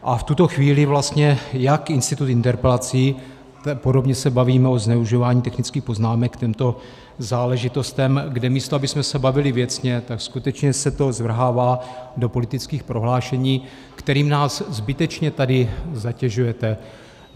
A v tuto chvíli vlastně jak institut interpelací - podobně se bavíme o zneužívání technických poznámek k těmto záležitostem, kde místo abychom se bavili věcně, tak skutečně se to zvrhává do politických prohlášení, kterým nás zbytečně tady zatěžujete.